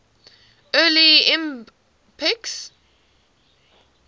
early ibm pcs